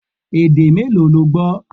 Èdè mélòó lo gbọ́?